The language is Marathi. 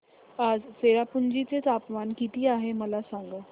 आज चेरापुंजी चे तापमान किती आहे मला सांगा